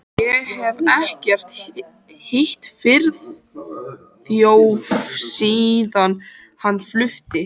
Ég hef ekkert hitt Friðþjóf síðan hann flutti.